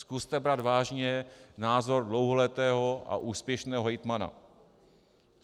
Zkuste brát vážně názor dlouholetého a úspěšného hejtmana.